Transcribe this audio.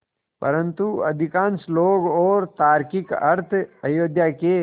परन्तु अधिकांश लोग और तार्किक अर्थ अयोध्या के